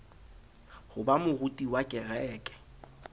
ho ba moruti wa kereke